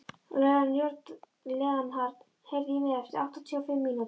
Leonhard, heyrðu í mér eftir áttatíu og fimm mínútur.